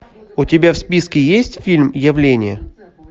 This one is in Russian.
у тебя в списке есть фильм явление